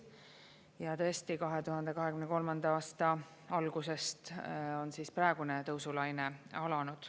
Ja tõesti, 2023. aasta algusest on praegune tõusulaine alanud.